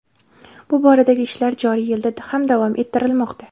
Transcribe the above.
Bu boradagi ishlar joriy yilda ham davom ettirilmoqda.